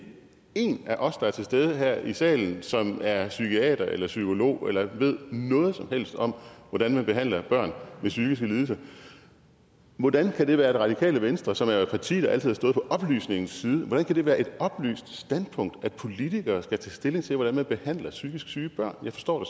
én af os der er til stede her i salen som er psykiater eller psykolog eller ved noget som helst om hvordan man behandler børn med psykiske lidelser hvordan kan det for det radikale venstre som er et parti der altid har stået på oplysningens side være et oplyst standpunkt at politikere skal tage stilling til hvordan man behandler psykisk syge børn jeg forstår